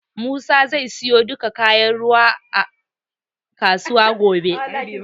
Musa zai siyo duka kayan aikin ruwan a kasuwa gobe.